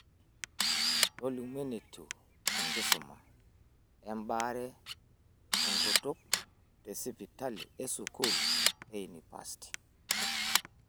Tolimu enetiu enkisuma ebaare enkutuk tesipitali e sukuul e unipasti.